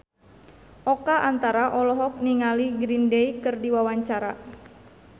Oka Antara olohok ningali Green Day keur diwawancara